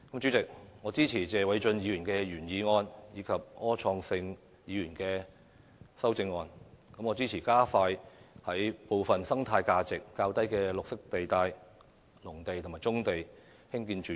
主席，我支持謝偉俊議員的原議案及柯創盛議員的修正案，支持加快在部分生態價值較低的綠化地帶、農地和棕地興建住宅。